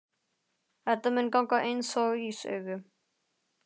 Þetta mun ganga einsog í sögu.